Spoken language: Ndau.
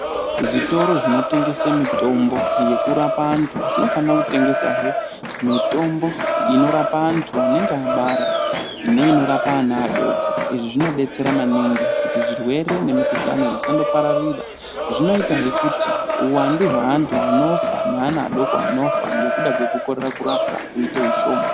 Zvitoro zvinotengese mitombo yekurapa antu, zvinofana kutengesahe mitombo inorapa antu anenge abara, neinorapa ana adoko. Izvi zvinobetsera maningi kuti zvirwere zvemikuhlani zvisandopararira. Zvinoitahe kuti huwandu hweantu anofa neana adoko anofa ngekuda kwekukorera kurapwa huite hushoma.